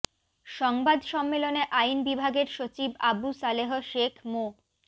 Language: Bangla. সংবাদ সম্মেলনে আইন বিভাগের সচিব আবু সালেহ শেখ মো